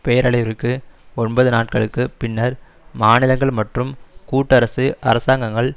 பேரழிவிற்கு ஒன்பது நாட்களுக்கு பின்னர் மாநிலங்கள் மற்றும் கூட்டரசு அரசாங்கங்கள்